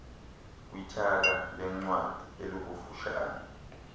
kwithala leencwadi elikufutshane